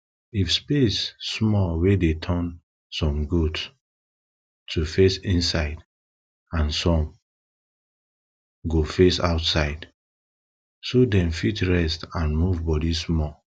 if space small we dey turn some goat to face inside and some some go face outside so dem fit rest and move body small